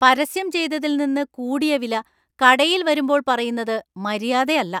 പരസ്യം ചെയ്തതിൽ നിന്ന് കൂടിയ വില കടയില്‍ വരുമ്പോള്‍ പറയുന്നത് മര്യാദയല്ല.